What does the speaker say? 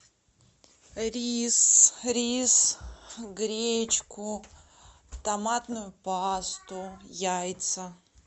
рис рис гречку томатную пасту яйца